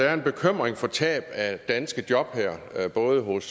er en bekymring for tab af danske job både hos